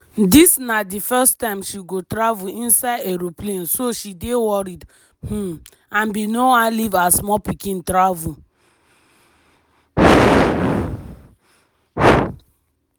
dis na di first time she go travel inside aeroplane so she dey worried um and bin no wan leave her small pikin travel.